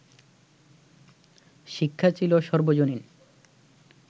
শিক্ষা ছিল সর্বজনীন